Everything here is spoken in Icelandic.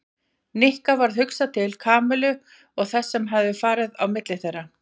Nikka varð hugsað til Kamillu og þess sem hafði farið á milli þeirra.